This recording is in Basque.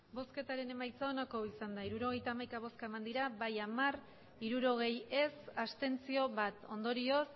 emandako botoak hirurogeita hamaika bai hamar ez hirurogei abstentzioak bat ondorioz